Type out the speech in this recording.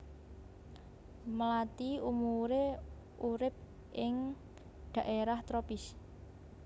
Mlathi umumé urip ing dhaérah tropis